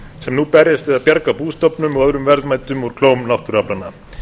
sem nú berjast við að bjarga bústofnum og öðrum verðmætum úr klóm náttúruaflanna